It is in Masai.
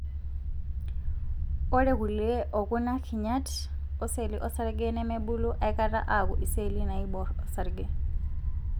ore kulie okuna kinyat oseli osarge nemebulu aikata aku iseli naibor osarge.